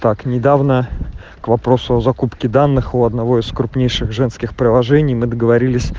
так недавно к вопросу о закупке данных у одного из крупнейших женских приложений мы договорились